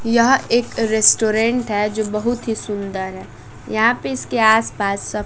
यह एक रेस्टोरेंट है जो बहुत ही सुंदर है यहां पे इसके आसपास सब--